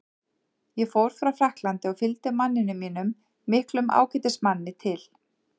Ég fór frá Frakklandi og fylgdi manninum mínum, miklum ágætismanni, til